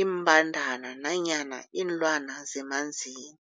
iimbandana nanyana iinlwana zemanzini.